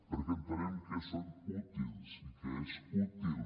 perquè entenem que són útils i que és útil